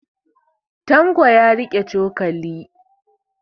Tanko ya riƙe cokali.